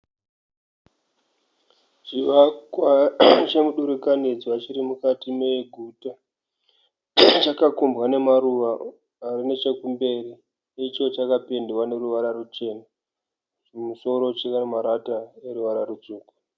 Chivakwa chemudurikanidzwa chirimukati meguta. Chakakombwa nemaruva arinechekumberi. Icho chakapendwa neruvara ruchena. Kumusoro chinamarata eruvara ruchena.